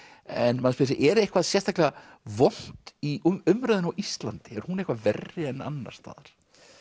en maður spyr sig er eitthvað sérstaklega vont í umræðunni á Íslandi er hún eitthvað verri en annars staðar